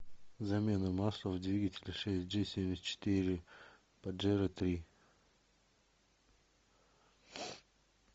замена масла в двигателе шесть джи семьдесят четыре паджеро три